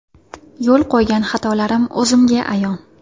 Yo‘l qo‘ygan xatolarim o‘zimga ayon.